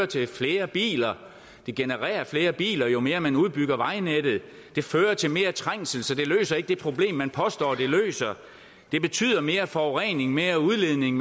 til flere biler det genererer flere biler jo mere man udbygger vejnettet det fører til mere trængsel så det løser ikke det problem man påstår det løser det betyder mere forurening mere udledning